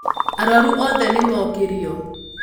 arwaru othe nĩmokĩrio